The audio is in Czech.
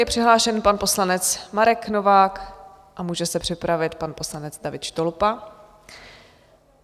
Je přihlášen pan poslanec Marek Novák a může se připravit pan poslanec David Štolpa.